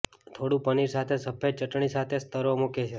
થોડું પનીર સાથે સફેદ ચટણી સાથે સ્તરો મૂકે છે